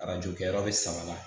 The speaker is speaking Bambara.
Arajo kɛyɔrɔ be sama na